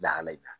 Lahala in na